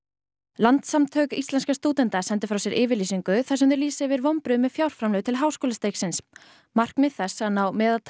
landssamtök íslenskra stúdenta sendu frá sér yfirlýsingu þar sem þau lýsa yfir vonbrigðum með fjárframlög til háskólastigsins markmið þess að ná meðaltali